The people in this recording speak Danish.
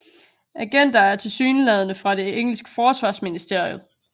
Agenter er tilsyneladende fra det engelske Forsvarsministeriet